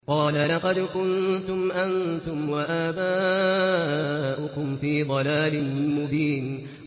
قَالَ لَقَدْ كُنتُمْ أَنتُمْ وَآبَاؤُكُمْ فِي ضَلَالٍ مُّبِينٍ